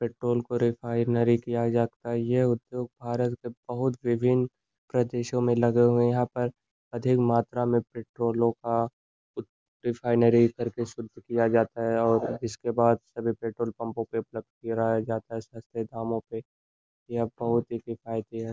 Petrol को refinery किया जा सकता है यह उद्योग भारत के बहुत विभिन्न प्रदेशों में लगे हुए यहां पर अधिक मात्रा में पेट्रोलों का रिफाइनरी करके शुद्ध किया जाता है और इसके बाद सभी पेट्रोल पंपों पर प्लग किया जाता है सस्ते दामो पे यह बहुत ही किफायति है।